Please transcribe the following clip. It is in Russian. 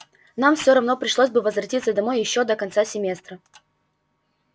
нам все равно пришлось бы возвратиться домой ещё до конца семестра